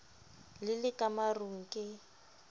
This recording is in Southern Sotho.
le le ka marung ke